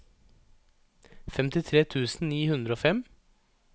femtitre tusen ni hundre og fem